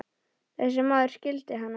Þessi maður skildi hann ekki.